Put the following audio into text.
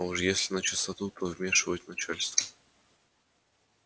а уж если начистоту то вмешивать начальство